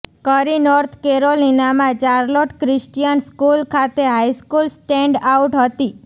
કરી નોર્થ કેરોલિનામાં Charlotte Christian school ખાતે હાઇસ્કૂલ સ્ટેન્ડઆઉટ હતી